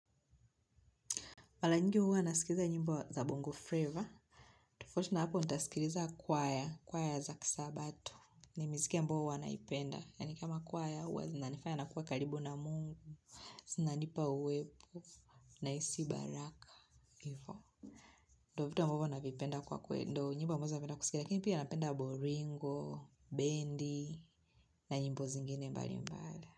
Mara nyingi huwa nasikiza nyimbo za bongo flavor tofauti na hapo, nitasikiliza kwaya. Kwaya za kisabatu. Ni miziki ambao huwa naipenda. Yaani kama kwaya, huwa zinanifanya nakuwa karibu na mungu. Zinanipa uwepo. Nahisi baraka. Hivo. Ndo vitu ambavyo navipenda kwa kweli. Nyimbo ambazo napenda kusikia. Lakini pia napenda bolingo, bendi, na nyimbo zingine mbalimbali.